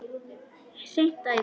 Hreint æði!